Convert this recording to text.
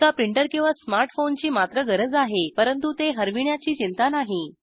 एका प्रिंटर किंवा स्मार्ट फोनची मात्र गरज आहे परंतु ते हरविण्याची चिंता नाही